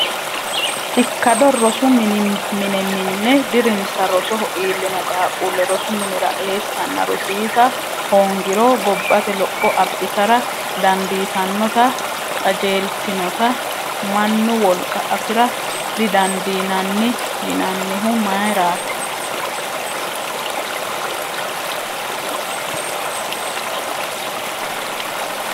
Ikkado rosu mine minne dirinsa rosoho iillino qaaqquulle rosu minira eessanna rosiisa hoongiro gobbate lopho abbitara dandiitannota qajeeltinota mannu wolqa afi’ra didandiinanni yinannihu mayirati?